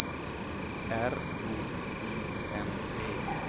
R O I N E